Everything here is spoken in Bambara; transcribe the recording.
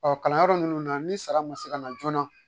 Ɔ kalan yɔrɔ nunnu na n sara ma se ka na joona.